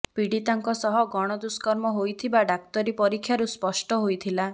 ପିଡ଼ୀତାଙ୍କ ସହ ଗଣ ଦୁଷ୍କର୍ମ ହୋଇଥିବା ଡାକ୍ତରୀ ପରୀକ୍ଷାରୁ ସ୍ପଷ୍ଟ ହୋଇଥିଲା